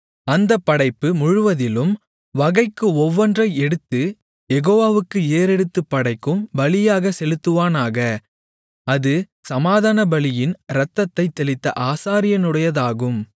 அந்தப் படைப்பு முழுவதிலும் வகைக்கு ஒவ்வொன்றை எடுத்துக் யெகோவாவுக்கு ஏறெடுத்துப் படைக்கும் பலியாகச் செலுத்துவானாக அது சமாதானபலியின் இரத்தத்தைத் தெளித்த ஆசாரியனுடையதாகும்